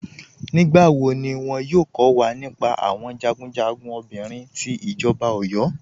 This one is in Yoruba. Nígbàwọ́ ní wọ́n yóò kọ̀ wà nípá àwọn jagunjagun obìnrin tí ìjọba Ọ̀yọ́?